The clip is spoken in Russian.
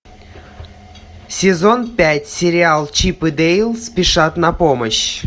сезон пять сериал чип и дейл спешат на помощь